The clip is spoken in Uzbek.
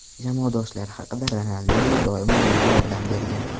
Jamoadoshlari haqida Ronaldinyo doimo menga yordam bergan.